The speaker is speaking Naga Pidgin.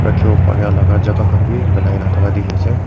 rakhiwo paraelaka jaka khan bi dikhiase.